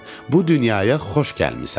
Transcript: Bu dünyaya xoş gəlmisən.